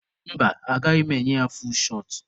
Mba, agaghị m enye ya fuul shọt.